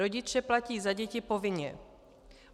Rodiče platí za děti povinně.